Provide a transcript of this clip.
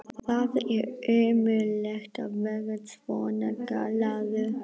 Það er ömurlegt að vera svona gallaður!